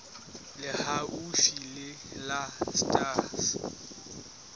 le haufi le la sars